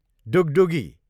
डुगडुगी